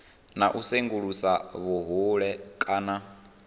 na u sengulusa vhuhole kana